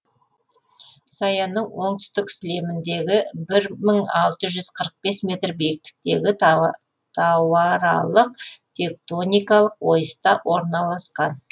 саянның оңтүстік сілеміндегі бір мың алтыз жүз қырық бес метр биіктіктегі тауаралық тектоникалық ойыста орналасқан